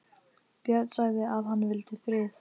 Björn sagði að hann vildi frið.